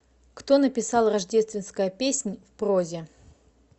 кто написал рождественская песнь в прозе